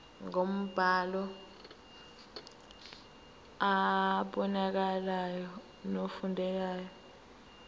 ngombhalo obonakalayo nofundekayo